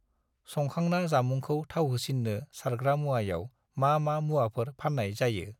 संखांना जामुंखौ थावहोसिन्नो सारग्रा मुवायाव मा-मा मुवाफोर फान्नाय जायो?